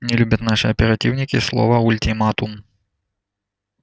не любят наши оперативники слово ультиматум